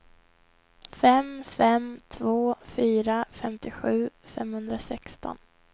fem fem två fyra femtiosju femhundrasexton